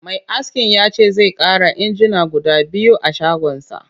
Mai askin ya ce zai ƙara injina guda biyu a shagonsa